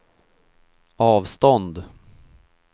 avstånd